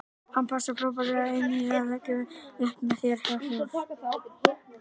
Hann passar frábærlega inní það sem við leggjum upp með hér hjá Þór.